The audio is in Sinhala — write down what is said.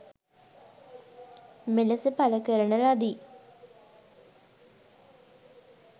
මෙලෙස පල කරන ලදි.